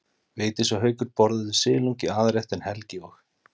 Vigdís og Haukur borðuðu silung í aðalrétt en Helgi og